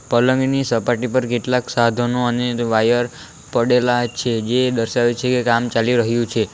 પલંગ ની સપાટી પર કેટલાક સાધનો અને વાયર પડેલા છે જે દર્શાવે છે કે કામ ચાલી રહ્યું છે.